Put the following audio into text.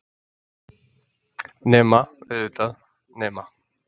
Nema, auðvitað. nema.